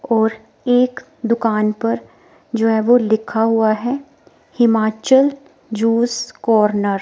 और एक दुकान पर जो है वो लिखा हुआ है हिमाचल जूस कॉर्नर --